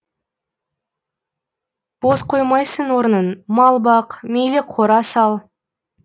бос қоймайсың орнын мал бақ мейлі қора сал